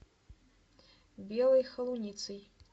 белой холуницей